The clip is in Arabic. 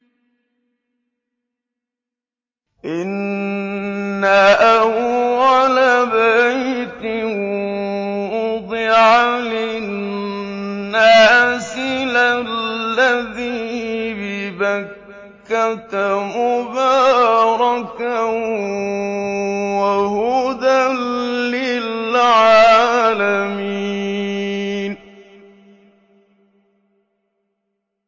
إِنَّ أَوَّلَ بَيْتٍ وُضِعَ لِلنَّاسِ لَلَّذِي بِبَكَّةَ مُبَارَكًا وَهُدًى لِّلْعَالَمِينَ